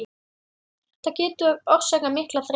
Þetta getur orsakað mikla þreytu.